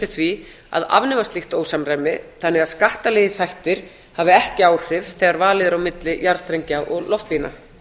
því að afnema slíkt ósamræmi þannig að skattalegir þættir hafi ekki áhrif þegar valið er á milli jarðstrengja og loftlína